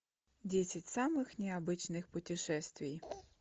десять самых необычных путешествий